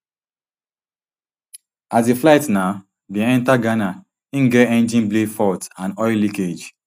as di flight um bin enta ghana im get engine blade fault and oil leakage